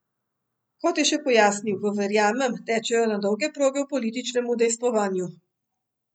Kot je še pojasnil, v Verjamem tečejo na dolge proge v političnem udejstvovanju.